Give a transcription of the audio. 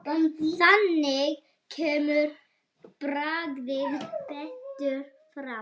Þannig kemur bragðið betur fram.